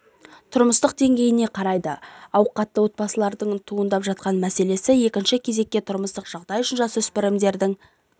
тұрмыстық деңгейіне қарамайды ауқатты отбасылардыңда туындап жатқан мәселе екінші кезекте тұрмыстық жағдай үшінші жасөспірімдердің